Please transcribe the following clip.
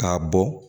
K'a bɔ